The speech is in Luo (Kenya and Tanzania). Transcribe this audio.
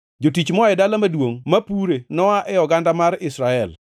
Jotich moa e dala maduongʼ ma pure noa e oganda mar Israel.